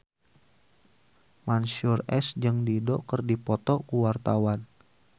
Mansyur S jeung Dido keur dipoto ku wartawan